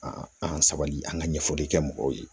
an ka sabali an ka ɲɛfɔli kɛ mɔgɔw ye